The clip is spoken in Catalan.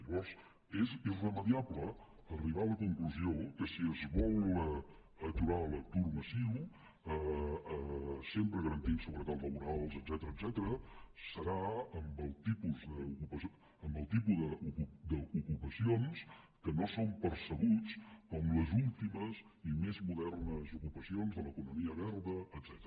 llavors és irremeiable arribar a la conclusió que si es vol aturar l’atur massiu sempre garantint seguretat laboral etcètera serà amb el tipus d’ocupacions que no són percebudes com les últimes i més modernes ocupacions de l’economia verda etcètera